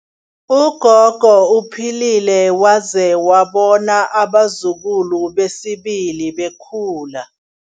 Ugogo uphilile waze wabona abazukulu besibili bekhula.